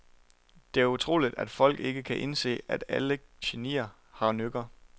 Det er utroligt, at folk ikke kan indse, at alle genier har nykker.